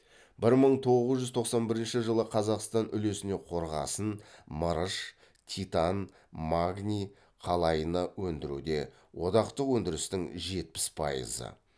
бір мың тоғыз жүз тоқсан бірінші жылы қазақстан үлесіне қорғасын мырыш титан магний қалайыны өндіруде одақтық өндірістің жетпіс пайызы